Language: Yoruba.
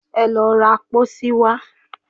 Ẹ lọ ra pósí wá